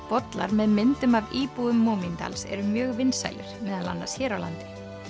bollar með myndum af íbúum eru mjög vinsælir meðal annars hér á landi